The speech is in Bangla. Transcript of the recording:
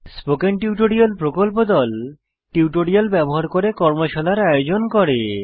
স্পোকেন টিউটোরিয়াল প্রকল্প দল টিউটোরিয়াল ব্যবহার করে কর্মশালার আয়োজন করে